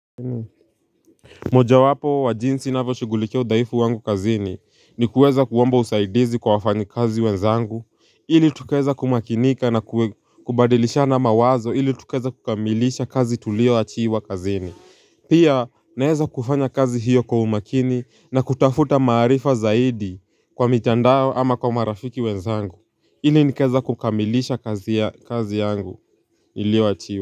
Moja wapo wa jinsi navyoshughulikia udhaifu wangu kazini ni kuweza kuomba usaidizi kwa wafanyikazi wenzangu ili tukaeza kumakinika na kubadilishana mawazo ili tukaeze kukamilisha kazi tulio achiwa kazini Pia naeza kufanya kazi hiyo kwa umakini na kutafuta maarifa zaidi kwa mitandao ama kwa marafiki wenzangu ili nikaeza kukamilisha kazi ya kazi yangu ilio achiwa.